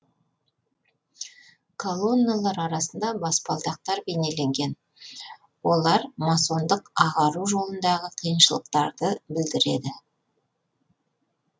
колонналар арасында баспалдақтар бейнеленген олар масондық ағару жолындағы қиыншылықтарды білдіреді